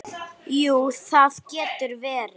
Jú, það getur verið.